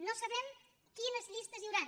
no sabem quines llistes hi hauran